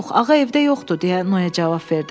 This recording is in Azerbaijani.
Yox, ağa evdə yoxdur, deyə Noye cavab verdi.